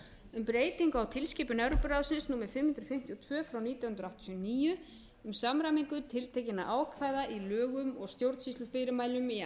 um breytingu á tilskipun evrópuráðsins númer fimm hundruð fimmtíu og tvö frá nítján hundruð áttatíu og níu um samræmingu tiltekinna ákvæða í lögum og stjórnsýslufyrirmælum í